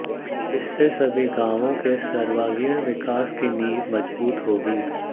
इससे सभी गांवों के सर्वागीण विकास की नींव मजबूत होगी